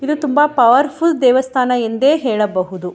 ಇದು ತುಂಬ ಪವರ್ಫುಲ್ ದೇವಸ್ಥಾನ ಎಂದೇ ಹೇಳ ಬೊಹೋದು .